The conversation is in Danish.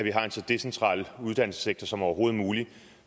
at vi har en så decentral uddannelsessektor som overhovedet muligt